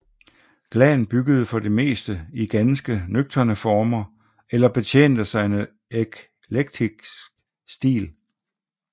Glahn byggede for det meste i ganske nøgterne former eller betjente sig af en eklektisk stil